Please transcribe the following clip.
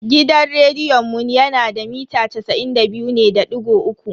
Gidan rediyon mu yana da mita casa'in da biyu ne da digo uku.